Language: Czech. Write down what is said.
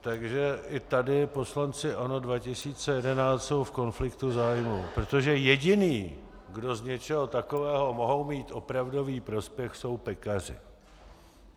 Takže i tady poslanci ANO 2011 jsou v konfliktu zájmů, protože jediní, kdo z něčeho takového mohou mít opravdový prospěch, jsou pekaři.